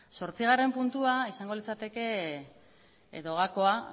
zortzigarren puntua izango litzateke edo gakoa